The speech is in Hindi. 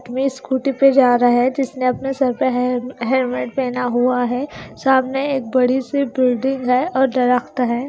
मी स्कूटी पे जा रहा है जिसने अपने सर पे हेयर हेयरबैंड पहना हुआ है सामने एक बड़ी सी बिल्डिंग है और दरख़्त हैं।